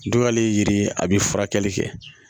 Dugalen ye yiri ye a bɛ furakɛli kɛ